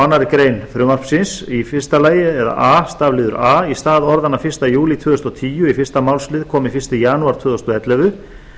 annarri grein frumvarpsins a í stað orðanna fyrsta júlí tvö þúsund og tíu í fyrsta málsl komi fyrsta janúar tvö þúsund og ellefu